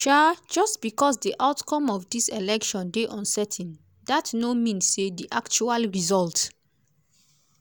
um just becos di outcome of dis election dey uncertain dat no mean say di actual result